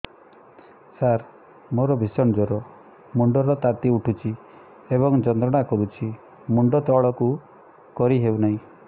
ସାର ମୋର ଭୀଷଣ ଜ୍ଵର ମୁଣ୍ଡ ର ତାତି ଉଠୁଛି ଏବଂ ଯନ୍ତ୍ରଣା କରୁଛି ମୁଣ୍ଡ ତଳକୁ କରି ହେଉନାହିଁ